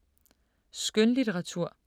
Skønlitteratur